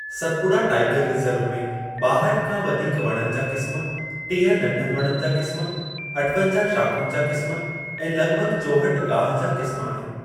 सतपुड़ा tiger reserve में ॿाहठि खां वधीक वणनि जा क़िस्म, टीह नंढनि वणनि जा क़िस्म, अठवंजाह शाख़ुनि जा क़िस्म, ऐं लॻिभॻि चौहठि गाहि जा क़िस्म आहिनि।